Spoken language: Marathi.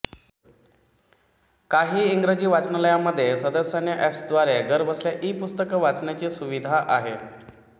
काही इंग्रजी वाचनालयांमध्ये सदस्यांना ऍप्सद्वारे घरबसल्या ईपुस्तकं वाचण्याची सुविधा आहे